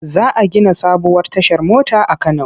Za a gina sabuwar tashar mota a Kano.